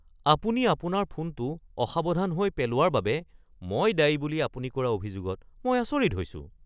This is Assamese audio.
আপুনি আপোনাৰ ফোনটো অসাৱধান হৈ পেলোৱাৰ বাবে মই দায়ী বুলি আপুনি কৰা অভিযোগত মই আচৰিত হৈছোঁ।